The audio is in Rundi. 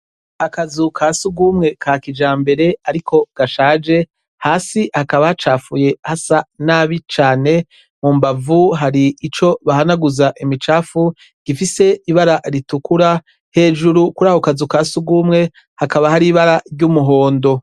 Akazu ka sugumwe ka kijambere ariko gashaje hasi hakaba hacafuye hasa nabi cane mu mbavu harico bahanaguza imicafu gifise ibara ritukura hejuru kurako kazu ka sugumwe hakaba har’ibara ry'umuhondo.